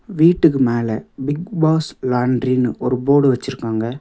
வீட்டுக்கு மேல Bigg Boss லான்றினு ஒரு போர்டு வெச்சிருக்காங்க.